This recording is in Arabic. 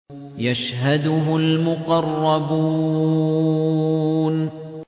يَشْهَدُهُ الْمُقَرَّبُونَ